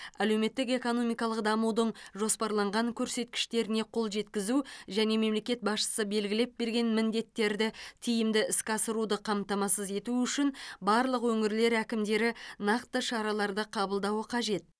әлеуметтік экономикалық дамудың жоспарланған көрсеткіштеріне қол жеткізу және мемлекет басшысы белгілеп берген міндеттерді тиімді іске асыруды қамтамасыз ету үшін барлық өңірлер әкімдері нақты шараларды қабылдауы қажет